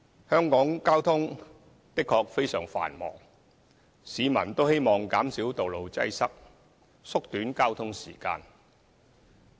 香港交通的確非常繁忙，市民都希望減少道路擠塞，縮短交通時間。